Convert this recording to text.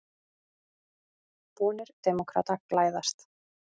Vonir demókrata glæðast